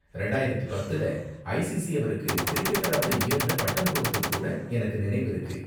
ரெண்டாயிரத்து பத்துல, ஐசிசி அவருக்கு கிரிக்கெட்டர் ஆஃப் தி இயர் னு பட்டம் கொடுத்தது கூட எனக்கு நினைவிருக்கு.